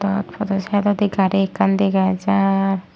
iyot podw saidodi gari ekkan dega jaar.